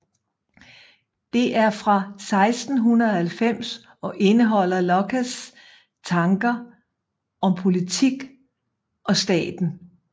Det er fra 1690 og indeholder Lockes tanker om politik og staten